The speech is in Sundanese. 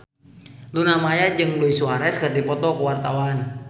Luna Maya jeung Luis Suarez keur dipoto ku wartawan